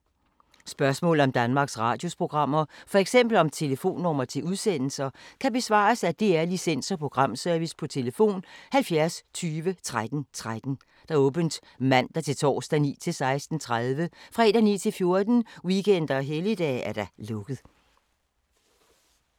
Spørgsmål om Danmarks Radios programmer, f.eks. om telefonnumre til udsendelser, kan besvares af DR Licens- og Programservice: tlf. 70 20 13 13, åbent mandag-torsdag 9.00-16.30, fredag 9.00-14.00, weekender og helligdage: lukket.